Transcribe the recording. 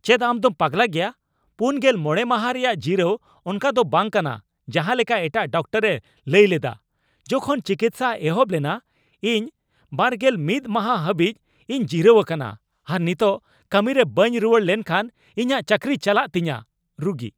ᱪᱮᱫ ᱟᱢ ᱫᱚᱢ ᱯᱟᱜᱞᱟ ᱜᱮᱭᱟ ? ᱔᱕ ᱢᱟᱦᱟ ᱨᱮᱭᱟᱜ ᱡᱤᱨᱟᱹᱣ ᱚᱱᱠᱟ ᱫᱚ ᱵᱟᱝ ᱠᱟᱱᱟ ᱡᱟᱦᱟᱸᱞᱮᱠᱟ ᱮᱴᱟᱜ ᱰᱟᱠᱛᱚᱨᱮ ᱞᱟᱹᱭ ᱞᱮᱫᱟ ᱡᱚᱠᱷᱚᱱ ᱪᱤᱠᱤᱛᱥᱟ ᱮᱦᱚᱵ ᱞᱮᱱᱟ ᱾ ᱤᱧ ᱒᱑ ᱢᱟᱦᱟ ᱦᱟᱹᱵᱤᱡ ᱤᱧ ᱡᱤᱨᱟᱹᱣ ᱟᱠᱟᱱᱟ ᱟᱨ ᱱᱤᱛᱚᱜ ᱠᱟᱹᱢᱤ ᱨᱮ ᱵᱟᱹᱧ ᱨᱩᱣᱟᱹᱲ ᱞᱮᱱᱠᱷᱟᱱ ᱤᱧᱟᱜ ᱪᱟᱹᱠᱨᱤ ᱪᱟᱞᱟᱜ ᱛᱤᱧᱟᱹ ᱾ (ᱨᱩᱜᱤ)